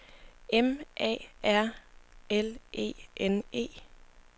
M A R L E N E